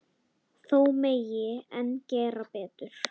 Þó megi enn gera betur.